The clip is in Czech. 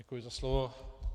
Děkuji za slovo.